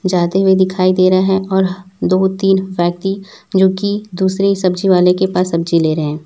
जाते हुए दिखाई दे रहे है और दो तीन व्यक्ति जो की दूसरे ही सब्जी वाले के पास सब्जी ले रहे हैं।